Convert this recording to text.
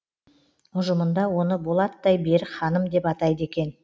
ұжымында оны болаттай берік ханым деп атайды екен